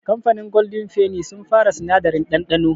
Kamfanin gwaldin feni sun fara sinadari ɗanɗano.